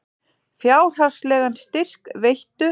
Fjárhagslegan styrk veittu